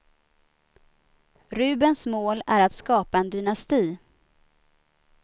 Rubens mål är att skapa en dynasti.